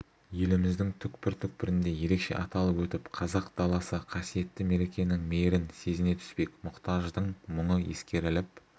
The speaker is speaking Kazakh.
еліміздің түкпір-түкпірінде ерекше аталып өтіп қазақ даласы қасиетті мерекенің мейірін сезіне түспек мұқтаждың мұңы ескеріліп